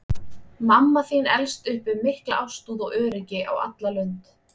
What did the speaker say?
Mamma þín elst upp við mikla ástúð og öryggi á alla lund.